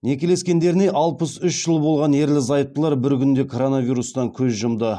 некелескендеріне алпыс үш жыл болған ерлі зайыптылар бір күнде коронавирустан көз жұмды